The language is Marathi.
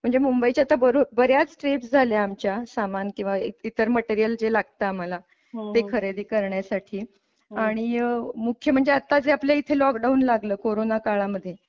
म्हणजे मुंबईच्या तर बर्याच ट्रिप झाल्या आमच्या सामान किंवा इतर मटेरिअल जे लागत आम्हाला ते खरेदी करण्यासाठी आणि मुख्य म्हणजे आत्ता जे आपल्या इथे लॉकडाऊन लागला कोरोना काळा मध्ये.